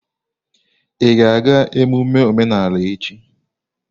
Ị ga-aga emume omenala echi?